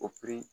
O